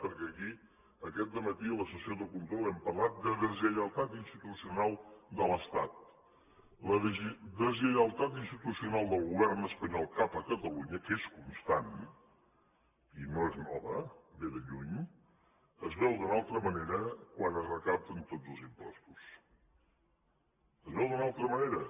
perquè aquí aquest dematí en la sessió de control hem parlat de deslleialtat institucional de l’estat la deslleialtat institucional del govern espanyol cap a catalunya que és constant i no és nova ve de lluny es veu d’una altra manera quan es recapten tot els impostos es veu d’una altra manera